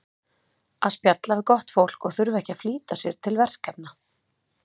að spjalla við gott fólk og þurfa ekki að flýta sér til verkefna